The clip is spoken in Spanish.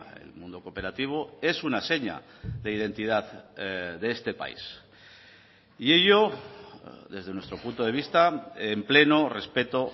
el mundo cooperativo es una seña de identidad de este país y ello desde nuestro punto de vista en pleno respeto